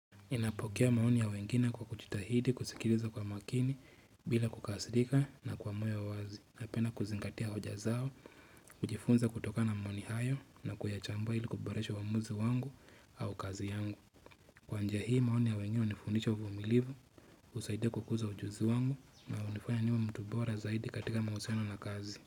Ninapokea maoni ya wengine kwa kujitahidi kusikiliza kwa makini bila kukasirika na kwa moyo wazi napenda kuzingatia hoja zao, kujifunza kutokana na maoni hayo na kuyachambua ili kuboresho uamuzi wangu au kazi yangu. Kwa njia hii maoni ya wengine hunifundisha uvumilivu, husaidia kukuza ujuzi wangu na hunifanya niwe mtu bora zaidi katika mahusiano na kazi.